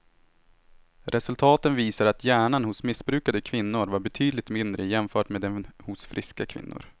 Resultaten visar att hjärnan hos missbrukande kvinnor var betydligt mindre jämfört med den hos friska kvinnor.